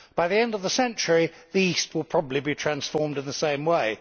By the end of the century the East will probably be transformed in the same way.